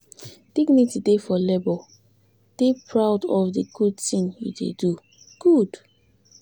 dignity dey for labour dey proud of di good thing you de good